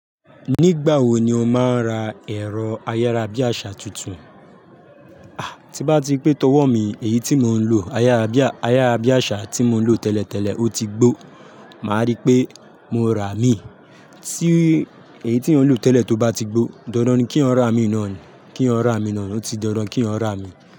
Nígbà wo ni o máa ń ra ẹ̀rọ ayárabíàṣà tuntun? Ah, tí bá ti pé tọ̀wọ̀ mi, èyí tí mò ń lò ayárabíàṣà tí mò ń lò tẹ́lẹ̀tẹ́lẹ̀, ó ti gbó. Màá rí pé mo rà á mì. Tí èyí tí mò ń lò tẹ́lẹ̀ tó bá ti gbó, dandan ni kí n rà á mì náà ni. Kí n rà á mì náà ni. Ó ti dandan kí yan rà á mì.